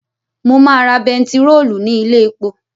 Mo máa ra bentiróòlù ní ilé epo